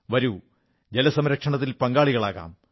വരൂ ജലസംരക്ഷണത്തിൽ പങ്കാളികളാകാം